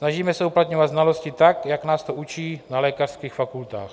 Snažíme se uplatňovat znalosti tak, jak nás to učí na lékařských fakultách.